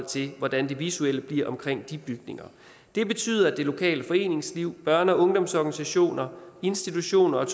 til hvordan det visuelle bliver omkring de bygninger det betyder at det lokale foreningsliv børne og ungdomsorganisationer institutioner